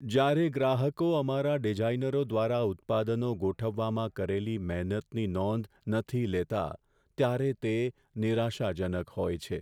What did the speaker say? જ્યારે ગ્રાહકો અમારા ડિઝાઈનરો દ્વારા ઉત્પાદનો ગોઠવવામાં કરેલી મહેનતની નોંધ નથી લેતા, ત્યારે તે નિરાશાજનક હોય છે.